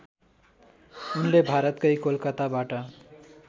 उनले भारतकै कोलकाताबाट